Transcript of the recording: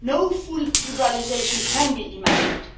No full liberalisation can be imagined.